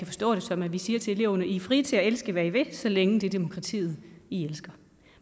forstå det som at vi siger til eleverne i er frie til at elske hvad i vil så længe det er demokratiet i elsker